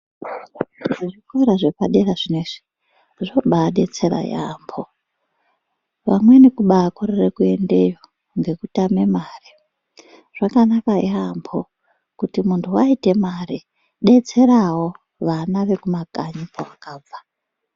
Zvikora zvepadera zvinezvi, zvinobaabetsera yaampho,.Vamweni kubaakorere kuendeyo ngekutame mare. Zvakanaka yaampho kuti muntu aite mare, detserawo vana vekumakanyi kwawakabva.